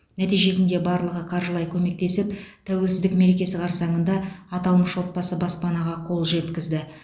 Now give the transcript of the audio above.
нәтижесінде барлығы қаржылай көмектесіп тәуелсіздік мерекесі қарсаңында аталмыш отбасы баспанаға қол жеткізді